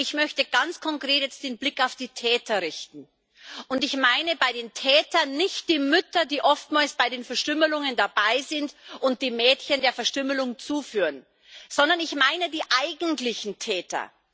Ich möchte jetzt ganz konkret den Blick auf die Täter richten, und ich meine bei den Tätern nicht die Mütter, die oftmals bei den Verstümmelungen dabei sind und die Mädchen der Verstümmelung zuführen, sondern ich meine die eigentlichen Täter.